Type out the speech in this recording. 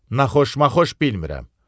Naxışma-xoş bilmirəm.